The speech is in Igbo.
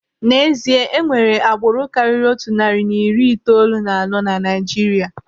N'ezie, enwere agbụrụ karịrị otu narị na iri itoolu na anọ na Naijiria.